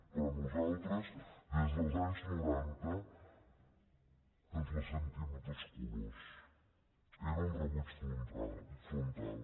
però nosaltres des dels anys noranta que ens les sentim de tots colors era un rebuig frontal